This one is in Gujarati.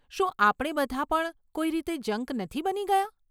શું આપણે બધાં પણ કોઈ રીતે જંક નથી બની ગયાં?